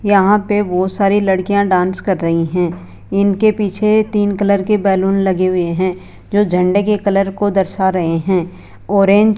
यहां पे बहोत सारी लड़कियां डांस कर रही हैं इनके पीछे तीन कलर के बैलून लगे हुए हैं जो झंडे के कलर को दर्शा रहे हैं ऑरेंज --